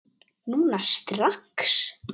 Núna strax?